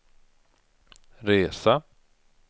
resa